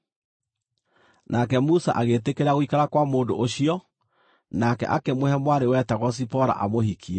Nake Musa agĩĩtĩkĩra gũikara kwa mũndũ ũcio, nake akĩmũhe mwarĩ wetagwo Zipora amũhikie.